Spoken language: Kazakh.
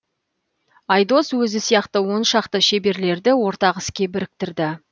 айдос өзі сияқты он шақты шеберлерді ортақ іске біріктірді